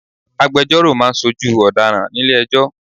Agbejọ́rò máa ń ṣojú ọ̀daràn nílé ẹjọ́.